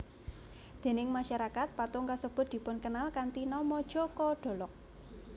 Déning masyarakat patung kasebut dipunkenal kanthi nama Joko Dolog